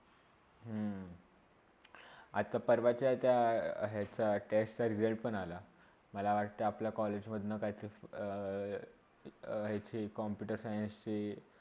आता परवाच्या ज्या एका टेस्टचा result पण आला. मला वाटते आ पल्या कॉलेजमधणा काहीतर अ अ काहीती Computer Science ची